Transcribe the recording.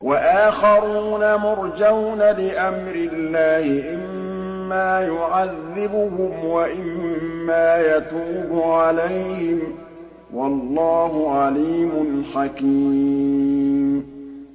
وَآخَرُونَ مُرْجَوْنَ لِأَمْرِ اللَّهِ إِمَّا يُعَذِّبُهُمْ وَإِمَّا يَتُوبُ عَلَيْهِمْ ۗ وَاللَّهُ عَلِيمٌ حَكِيمٌ